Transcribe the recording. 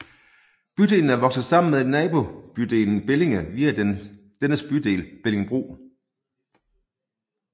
Bydelen er vokset sammen med nabobydelen Bellinge via dennes bydel Bellingebro